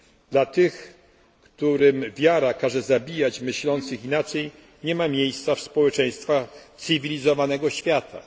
Dla tych, którym wiara każe zabijać myślących inaczej nie ma miejsca w społeczeństwach cywilizowanego świata.